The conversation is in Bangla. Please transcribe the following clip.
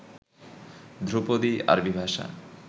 ধ্রুপদী, আরবি ভাষা